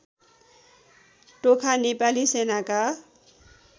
टोखा नेपाली सेनाका